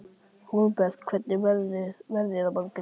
Hólmbert, hvernig verður veðrið á morgun?